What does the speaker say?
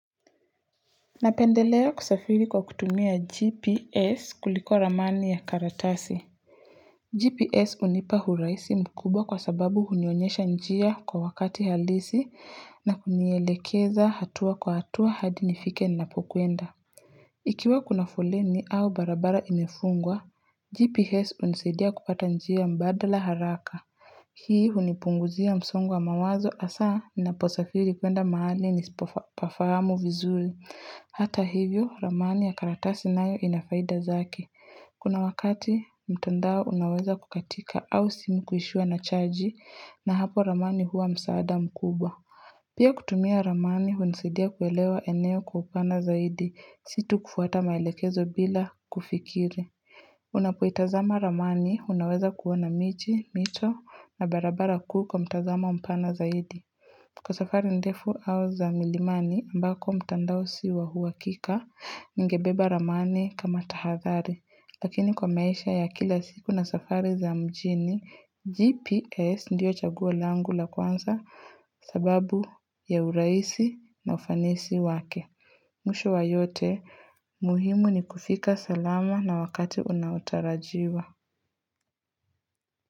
Napendelea kusafiri kwa kutumia GPS kuliko ramani ya karatasi GPS hunipa urahisi mkubwa kwa sababu hunionyesha njia kwa wakati halisi na kunielekeza hatua kwa hatua hadi nifike ninapokwenda Ikiwa kuna foleni au barabara imefungwa GPS hunisadia kupata njia mbadala haraka Hii hunipunguzia msongo wa mawazo hasa ninaposafiri kwenda mahali nisipopafahamu vizuri. Hata hivyo, ramani ya karatasi nayo ina faida zake Kuna wakati mtandao unaweza kukatika au simi kuishiwa na chanji na hapo ramani huwa msaada mkubwa Pia kutumia ramani, hunisidia kuelewa eneo kwa upana zaidi, sio tu kufuata maelekezo bila kufikiri. Unapoitazama ramani unaweza kuona miji, mito na barabara kuu kwa mtazamo mpana zaidi. Kwa safari ndefu au za milimani ambako mtandao si wa uhakika ningebeba ramani kama tahathari. Lakini kwa maisha ya kila siku na safari za mjini, GPS ndio chaguo langu la kwanza sababu ya urahisi na ufanisi wake. Mwisho wa yote, muhimu ni kufika salama na wakati unaotarajiwa.